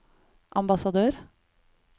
ambassadør